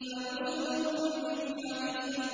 فَنُزُلٌ مِّنْ حَمِيمٍ